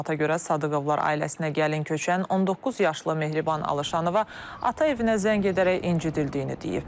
Məlumata görə, Sadıqovlar ailəsinə gəlin köçən 19 yaşlı Mehriban Alışanova ata evinə zəng edərək incidildiyini deyib.